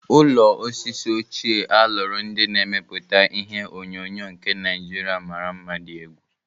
Ụlọ osisi ochie a lụrụ ndị na-emeputa ihe onyonyo nke Naijiria mara mma dị egwu.